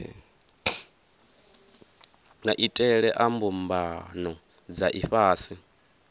maitele a mbumbano dza ifhasi